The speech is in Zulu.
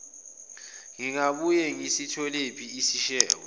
ngingabuye ngisitholephi isishebo